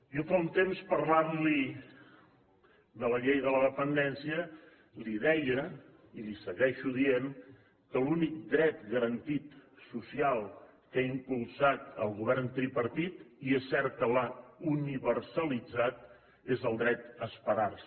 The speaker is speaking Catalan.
jo fa un temps parlant li de la llei de la dependència li deia li segueixo dient que l’únic dret garantit social que ha impulsat el govern tripartit i és cert que l’ha universalitzat és el dret a esperar se